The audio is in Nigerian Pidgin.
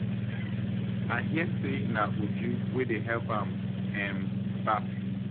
I hear say na Uju wey dey help am um baff